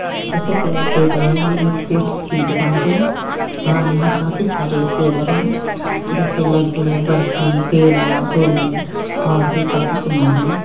जैसा कि आप देख रहे हैं ये एक स्वीट्स की दुकान है और यहाँ काफी सारे फ्लेवर हैं जैसे लड्डू बर्फी पेड़ा बूंदी और भी काफी सामान हैं।